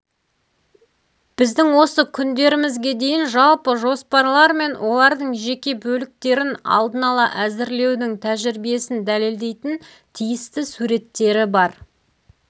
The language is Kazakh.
біздің осы күндерімізге дейін жалпы жоспарлар мен олардың жеке бөліктерін алдын ала әзірлеудің тәжірибесін дәлелдейтін тиісті суреттері бар